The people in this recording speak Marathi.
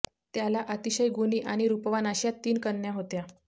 त्याला अतिशय गुणी आणी रुपवान अश्या तीन कन्या होत्या